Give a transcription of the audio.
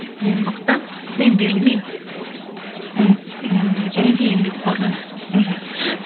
ең мықты мен берілмеймін ыыы және де еңбекқормын мхм